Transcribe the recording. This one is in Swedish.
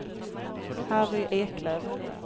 Harry Eklöf